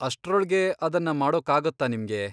ಅಷ್ಟ್ರೊಳ್ಗೆ ಅದನ್ನ ಮಾಡೋಕಾಗತ್ತಾ ನಿಮ್ಗೆ?